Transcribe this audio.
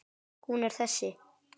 Hún er þessi